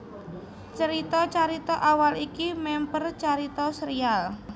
Crita carita awal iki mèmper carita sérial